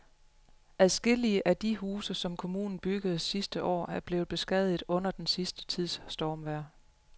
Adskillige af de huse, som kommunen byggede sidste år, er blevet beskadiget under den sidste tids stormvejr.